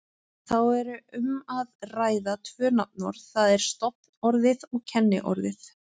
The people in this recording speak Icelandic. Þá er um að ræða tvö nafnorð, það er stofnorðið og kenniorðið.